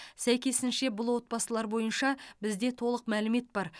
сәйкесінше бұл отбасылар бойынша бізде толық мәлімет бар